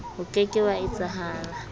o ke ke wa etsahala